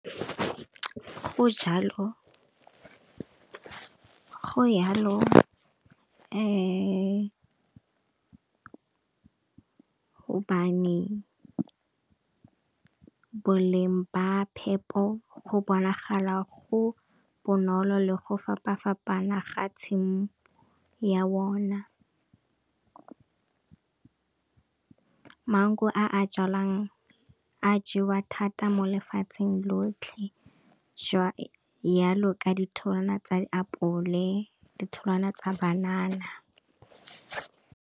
Go jalo gobane boleng ba phepo go bonagala go bonolo le go fapana fapana ga tshimo, ya bona maungo a jalwang a jewa thata mo lefatsheng lotlhe jwalo ka ditholwana tsa di apole, ditholwana tsa banana.